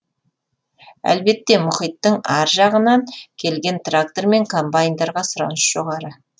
әлбетте мұхиттың ар жағынан келген трактор мен комбайндарға сұраныс жоғары